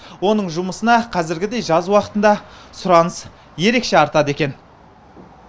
оның жұмысына қазіргідей жаз уақытында сұраныс ерекше артады екен